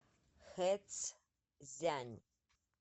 хэцзянь